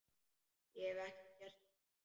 Hef ég ekki gert það?